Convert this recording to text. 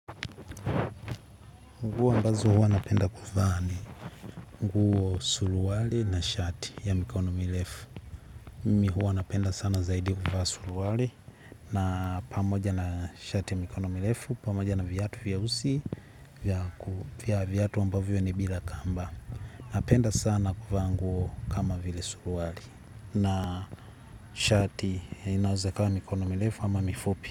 Nguo ambazo huwa napenda kuvaa ni nguo suruali na shati ya mikono mirefu. Mimi huwa napenda sana zaidi kuvaa suruali na pamoja na shati ya mikono mirefu, pamoja na viatu vyeusi, viatu ambavyo ni bila kamba. Napenda sana kuvaa nguo kama vile suruali na shati inaweza ikawa mikono mirefu ama mifupi.